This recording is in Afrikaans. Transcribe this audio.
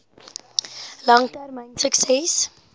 lang termyn sukses